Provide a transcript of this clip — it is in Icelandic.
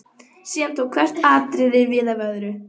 Síðan tók hvert atriðið við af öðru.